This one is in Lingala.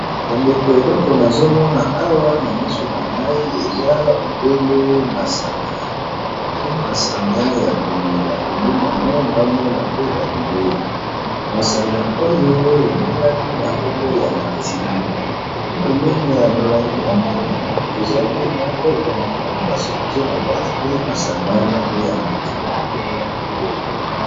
Bandeko eleko nazomona awa na misu na ngai eza obele masanga eza masanga ya komela pembeni yango naomona pe ba bilei masanga oyo ebengami na nkombo ya martini epi pembeni ya molangi wana namoni koza pe mwa kopo na ango basukie na kati pe masanga wana oya martini batubalingi omela.